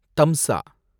தம்சா